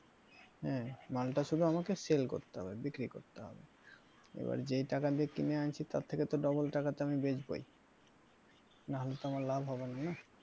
হ্যাঁ মালটা শুধু আমাকে sell করতে হবে বিক্রি করতে হবে এবার যে টাকা দিয়ে কিনে আনছি তার থেকে তো double টাকাতে আমি বেচবই না হলে তো আমার লাভ হবে না, না।